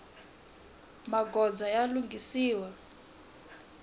magondzo ya lunghisiwa